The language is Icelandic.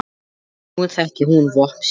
Því nú þekkir hún vopn sín.